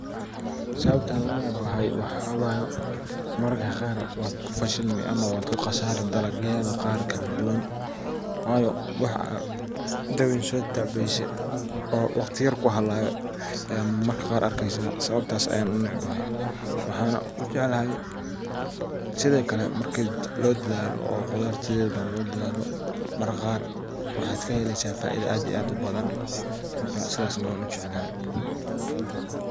Sababta aan unecebahay waxa waye maararka qarkiisa wa ku fashilmi ama waad ku qasaari dalagyaada qaar kala duwaan wayo waax aad dawiin so tacbeyse oo wakhti yar ku halawe aya maarmarka qaar arkeysa sababtaas aya unecebahay waxan ujecelhe sidhaa kale marka lo dadhaalo qudaarta waxa kaheleysa faaiida aad u badan sidhas na wan ujecelhe.